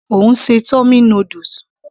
Ó ń ṣe tummy noodles